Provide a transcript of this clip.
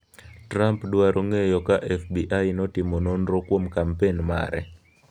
Trump dwaro ng'eyo ka FBI notimo nonro kuom kampen mare